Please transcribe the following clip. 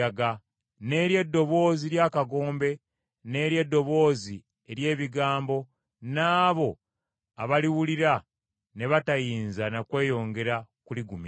n’eri eddoboozi ly’akagombe n’eri eddoboozi ery’ebigambo n’abo abaaliwulira ne batayinza na kweyongera kuligumira.